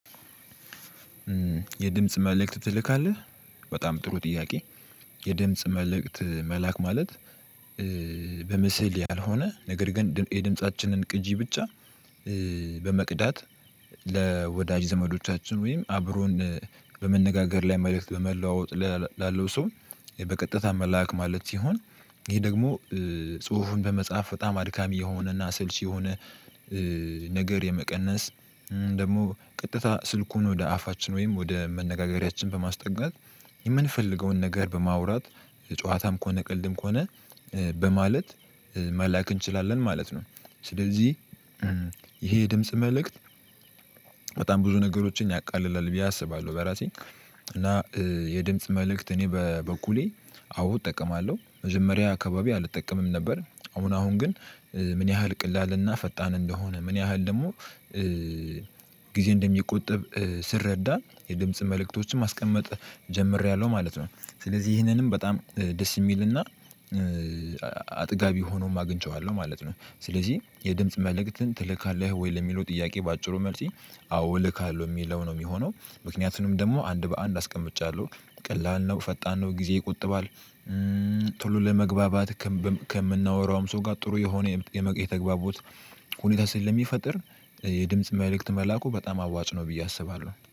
የድምጽ መልእክት ተልካለህ። በጣም ጥሩ ጥያቄ። የድምጽ መልእክት መላክ ማለት። በምስል ያልሆነ ነገር ግን የድምፃችንን ቅጂ ብቻ። በመቅዳት ለወዳጅ ዘመዶቻችን ወይም አብሮን በመነጋገር ላይ መልእክት በመለዋወጥ ላለው ሰው። በቀጥታ መላክ ማለት ሲሆን። ይሄ ደግሞ ጽሁፉን በመጽሐፍ በጣም አድካሚ የሆነና አሰልቺ የሆነ። ነገር የመቀነስ ደግሞ ቀጥታ ስልኩን ወደ አፋችን ወይም ወደ መነጋገሪያችን በማስጠጋት የምንፈልገውን ነገር በማውራት ጨዋታም ከሆነ ቀልድም ከሆነ በማለት መላክ እንችላለን ማለት ነው። ስለዚህ። ይህ የድምጽ መልእክት በጣም ብዙ ነገሮችን ያቃልላል ብየ አስባለሁ በራሴ። የድምጽ መልእክት እኔ በበኩሌ አዎ እጠቀማለው መጀመሪያ አካባቢ አልጠቀምም ነበር። አሁን አሁን ግን ምን ያህል ፈጣን እና ቀላል እንደሆነ ምን ያህል ደግሞ። ጊዜ እንደሚቆጥብ ስረዳ የድምጽ መልእክቶችን ማስቀመጥ ጀምሬያለሁ ማለት ነው። ስለዚህ ይህንንም በጣም ደስ የሚልና አጥጋቢ ሆኖም አግኝቼዋለሁ ማለት ነው። ስለዚህ የድምጽ መልእክትን ትልካለህ ወይ ለሚለው ጥያቄ በአጭሩ መልሲ አዎ እልካለሁ የሚለው ነው የሚሆነው። ምክንያቱንም ደግሞ አንድ በአንድ አስቀምጫለሁ ቀላል ነው ፈጣን ነው ጊዜ ይቆጥባል። ቶሎ ለመግባባት ከምናወራውም ሰው ጋር ጥሩ የሆነ የተግባቦት ሁኔታ ስለሚፈጥር። የድምጽ መልእክት መላኩ በጣም አዋጭ ነው ብዬ አስባለሁ